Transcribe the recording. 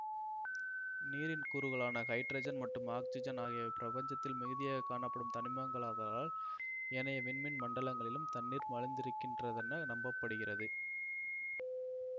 நீரின் கூறுகளான ஹைட்ரஜன் மற்றும் ஆக்சிஜன் ஆகியவை பிரபஞ்சத்தில் மிகுதியாக காணப்படும் தனிமங்களாகதலால் ஏனைய விண்மீன்மண்டலங்களிலும் தண்ணீர் மலிந்திருக்கின்றதென நம்ப படுகிறது